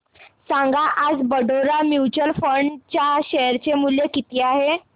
सांगा आज Baroda mutual fund च्या शेअर चे मूल्य किती आहे